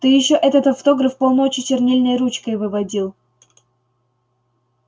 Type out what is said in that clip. ты ещё этот автограф полночи чернильной ручкой выводил